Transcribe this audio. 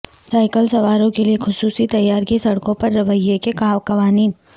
cycle سواروں کے لئے خصوصی تیار کی سڑکوں پر رویے کے قوانین